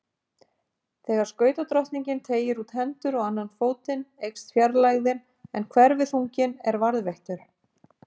Þegar skautadrottningin teygir út hendur og annan fótinn eykst fjarlægðin en hverfiþunginn er varðveittur.